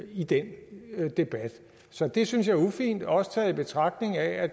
i den debat så det synes jeg er ufint også i betragtning af at